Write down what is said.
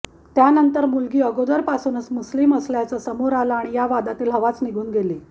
त्यानंतर मुलगी अगोदरपासूनच मुस्लीम असल्याचं समोर आलं आणि या वादातली हवाच निघून गेली